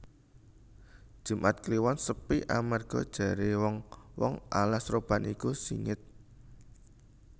Jumat kliwon sepi amarga jare wong wong alas roban iku singit